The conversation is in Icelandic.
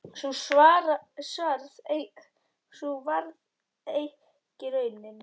Sú varð ekki raunin.